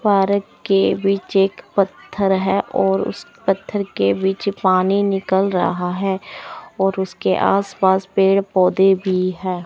Park के बीच एक पत्थर है और उसे पत्थर के बीच पानी निकल रहा है और उसके आसपास पेड़ पौधे भी है।